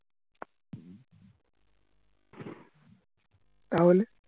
তাহলে